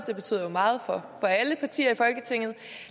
det betyder jo meget for alle partier